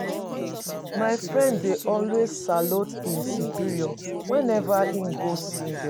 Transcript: My friend dey always salute his superior whenever he go see them